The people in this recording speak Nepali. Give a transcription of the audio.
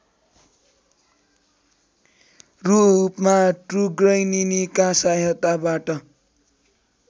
रूपमा ट्रुगैनिनीका सहायताबाट